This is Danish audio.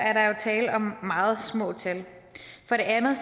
er der jo tale om meget små tal for det andet